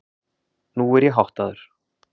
Nú er ég háttaður.